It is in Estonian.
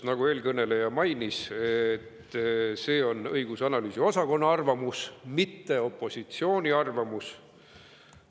Nagu eelkõneleja mainis, on see õigus‑ ja analüüsiosakonna arvamus, mitte opositsiooni arvamus.